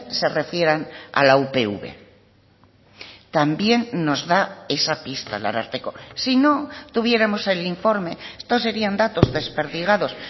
se refieran a la upv también nos da esa pista el ararteko si no tuviéramos el informe esto serían datos desperdigados